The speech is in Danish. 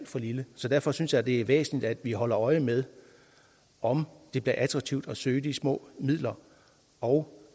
for lille så derfor synes jeg det er væsentligt at vi holder øje med om det bliver attraktivt at søge de små midler og